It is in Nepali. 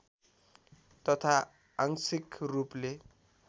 तथा आंशिक रूपले